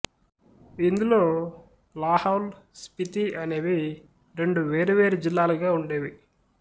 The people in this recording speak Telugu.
ఇందులో లాహౌల్ స్పితి అనేవి రెండు వేరువేరు జిల్లాలుగా ఉండేవి